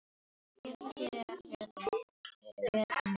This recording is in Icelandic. Gefðu þér verðlaun fyrir vel unnin störf.